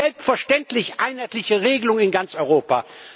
Selbstverständlich einheitliche Regelungen in ganz Europa.